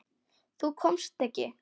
Þú komst ekki.